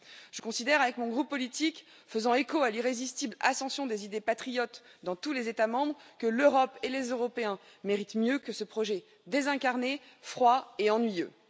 Je considère avec mon groupe politique, faisant écho à l'irrésistible ascension des idées patriotes dans tous les États membres, que l'Europe et les Européens méritent mieux que ce projet désincarné, froid et ennuyeux.